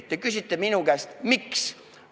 Te küsite minu käest: "Miks?